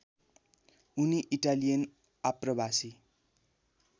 उनी इटालियन आप्रवासी